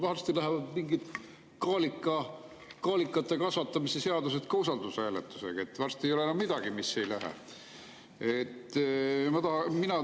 Varsti lähevad mingid kaalikate kasvatamise seadused ka usaldushääletusega, varsti ei ole enam midagi, mis ei lähe.